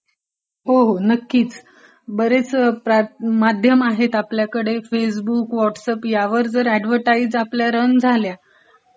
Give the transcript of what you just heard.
हो हो बरेच माध्या आहेत आपल्याकडे, फेसबुक, व्हॉटस ऍप ह्यावर आपल्या जाहिराती रन झाल्या